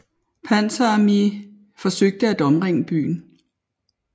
Panzer Armée forsøgte at omringe byen